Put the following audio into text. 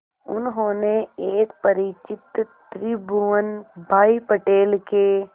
उन्होंने एक परिचित त्रिभुवन भाई पटेल के